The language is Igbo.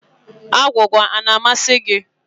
Agwụgwa a na-amasị gị?